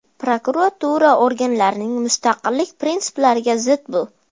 Prokuratura organlarining mustaqillik prinsiplariga zid bu.